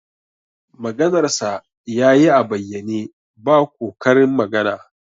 Maganarsa ya yi a bayyane, ba ko karin magana